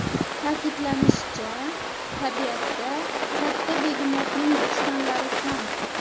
Ta’kidlanishicha, tabiatda katta begemotning dushmanlari kam.